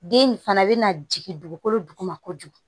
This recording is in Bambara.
Den in fana bɛ na jigin dugukolo duguma kojugu